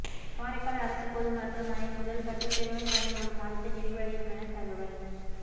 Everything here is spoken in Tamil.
காரைக்கால் அரசு பொது மருத்துவமனை முதல்கட்ட சீரமைப்புப் பணி ஒரு மாதத்தில் நிறைவடையுமென தகவல்